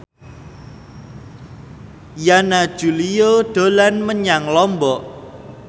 Yana Julio dolan menyang Lombok